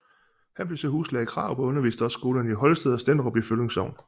Han blev så huslærer hos Krarup og underviste også i skolerne i Holsted og Stenderup i Føvling Sogn